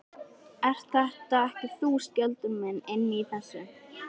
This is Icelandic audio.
Ert þetta ekki þú, Skjöldur minn, inni í þessu?